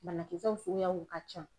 Banakisɛw suguyaw ka can.